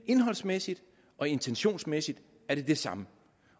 indholdsmæssigt og intentionsmæssigt er det det samme